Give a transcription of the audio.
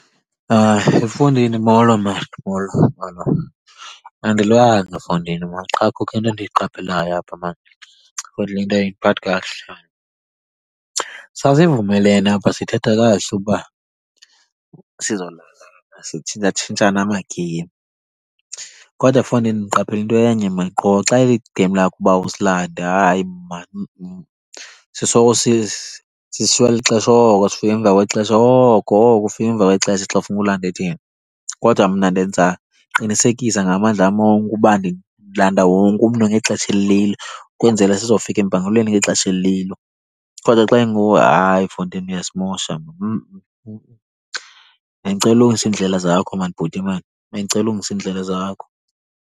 He fondini molo mani, molo, molo. Andilwanga fondini mani, qha kukho into endiyiqapheleyo apha mani futhi le nto ayindiphathi kakuhle. Sasivumelene apha sithetha kakuhle ukuba sizolandana, sitshintshatshintshane amagiye. Kodwa fondini ndiqaphela into enye mani qho xa iligemi lakho uba usilande hayi mani . Sisoloko sishiywa lixesha oko, sifika emva kwexesha oko, oko ufika emva kwexesha xa kufuneke ulande thina. Kodwa mna ndenza, ndiqinisekisa ngamandla am onke uba ndilanda wonke umntu ngexesha elililo, ukwenzela sizofika empangelweni ngexesha elililo. Kodwa xa inguwe hayi fondini uyasimosha mani . Bendicela ulungise iindlela zakho mani bhuti mani, bendicela ulungise iindlela zakho.